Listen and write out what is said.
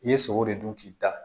I ye sogo de dun k'i da